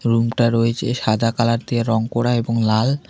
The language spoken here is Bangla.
রুমটা রয়েছে সাদা কালার দিয়ে রং করা এবং লাল।